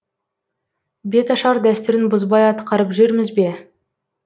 беташар дәстүрін бұзбай атқарып жүрміз бе